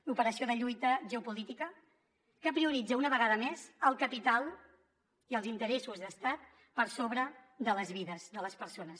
l’operació de lluita geopolítica que prioritza una vegada més el capital i els interessos d’estat per sobre de les vides de les persones